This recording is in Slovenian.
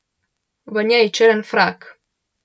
V njej črn frak.